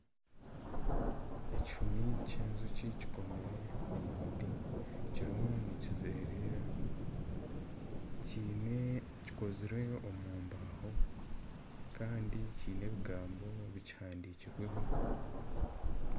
Ekihumi ky'enjoki kikomire omumuti kirimu nikizerera kikozirwe omumbaho Kandi kiine ebigambo bikihandikirweho.